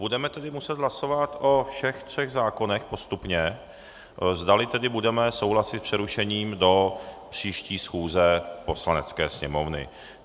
Budeme tedy muset hlasovat o všech třech zákonech postupně, zdali tedy budeme souhlasit s přerušením do příští schůze Poslanecké sněmovny.